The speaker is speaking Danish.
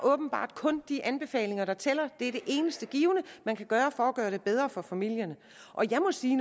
åbenbart kun de anbefalinger der tæller er det eneste man kan gøre for at gøre det bedre for familierne jeg må sige